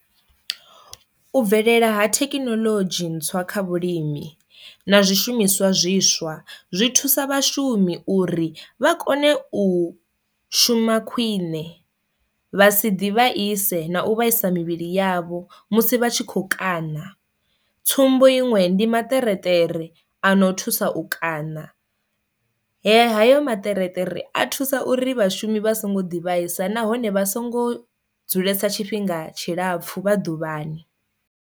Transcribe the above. U bvelela ha thekinoḽodzhi ntswa kha vhulimi na zwishumiswa zwiswa zwi thusa vhashumi uri vha kone u shuma khwiṋe vha si ḓi vhaise na u vhaisa mivhili yavho musi vha tshi kho kana, tsumbo iṅwe ndi maṱerekere ano thusa u kana, he hayo maṱerekere a thusa uri vhashumi vha songo ḓivhisa nahone vha songo dzulesa tshifhinga tshilapfu vha ḓuvhani.